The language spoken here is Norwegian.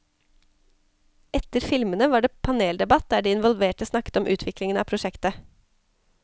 Etter filmene var det paneldebatt der de involverte snakket om utviklingen av prosjektet.